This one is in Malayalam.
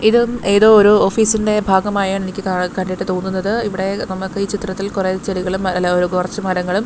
ഇതും ഏതോ ഒരു ഓഫീസിന്റെ ഭാഗമായാണ് എനിക്ക് കാണാ കണ്ടിട്ട് തോന്നുന്നത് ഇവിടെ നമുക്ക് ഈ ചിത്രത്തിൽ കുറേ ചെടികളും അല്ലാ കുറച്ച് മരങ്ങളും--